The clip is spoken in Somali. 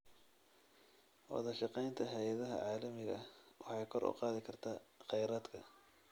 Wadashaqeynta hay'adaha caalamiga ah waxay kor u qaadi kartaa kheyraadka.